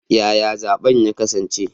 Yaya zaben ya kasance?